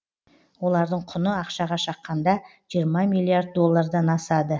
олардың құны ақшаға шаққанда жиырма миллиард доллардан асады